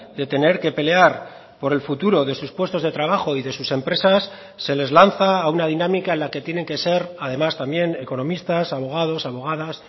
de tener que pelear por el futuro de sus puestos de trabajo y de sus empresas se les lanza a una dinámica en la que tienen que ser además también economistas abogados abogadas